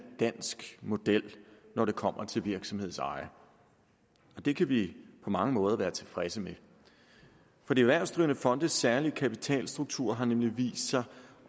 dansk model når det kommer til virksomhedseje det kan vi på mange måder være tilfredse med for de erhvervsdrivende fonde særlige kapitalstruktur nemlig vist sig